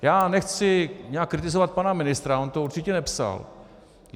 Já nechci nějak kritizovat pana ministra, on to určitě nepsal.